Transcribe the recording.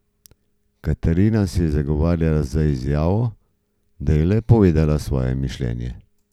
Katarina se je zagovarjala z izjavo, da je le povedala svoje mišljenje.